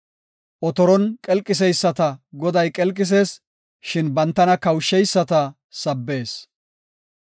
Otoron qelqiseyisata Goday qelqisees; shin bantana kawusheyisata sabbees.